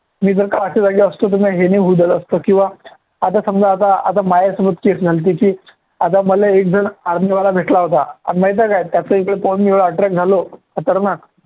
मी जर का जागी असतो तर मी हे नाही होऊ दिलं असतं किंवा आता समजा आता आता माझ्यासमोर झाली त्याची आता मला एक army वाला भेटला होता अन माहिती आहे का त्याचे पाहून मी एवढा attract झालो खतरनाक